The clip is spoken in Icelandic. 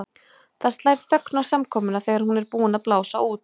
Það slær þögn á samkomuna þegar hún er búin að blása út.